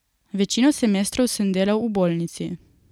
Večino semestrov sem delal v Bolnici.